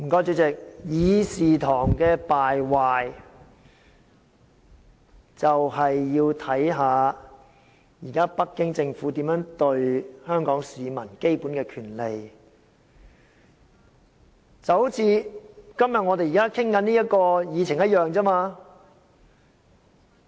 主席，議事堂的敗壞便是要視乎現時北京政府如何對待香港市民基本的權利，這就像今天我們現正討論的議程一樣。